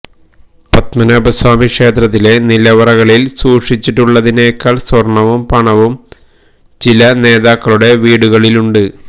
പത്മനാഭ സ്വാമി ക്ഷേത്രത്തിലെ നിലവറകളിൽ സൂക്ഷിച്ചിട്ടുള്ളതിനേക്കാൾ സ്വർണ്ണവും പണവും ചില നേതാക്കളുടെ വീടുകളിലുണ്ട്